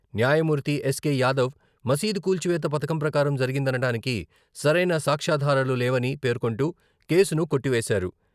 న్యాయమూర్తి ఎస్కే యాదవ్ మసీదు కూల్చివేత పథకం ప్రకారం జరిగిందనడానికి సరైన సాక్ష్యాధారాలు లేవని పేర్కొంటూ కేసును కొట్టివేశారు.